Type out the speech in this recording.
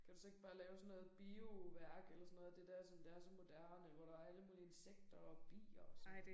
Kan du så ikke bare lave sådan noget bioværk eller sådan noget af det der som der er så moderne hvor der alle mulige insekter og bier og sådan noget